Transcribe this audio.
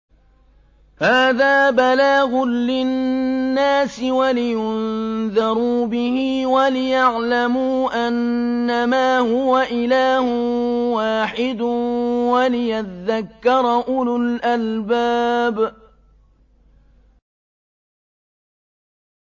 هَٰذَا بَلَاغٌ لِّلنَّاسِ وَلِيُنذَرُوا بِهِ وَلِيَعْلَمُوا أَنَّمَا هُوَ إِلَٰهٌ وَاحِدٌ وَلِيَذَّكَّرَ أُولُو الْأَلْبَابِ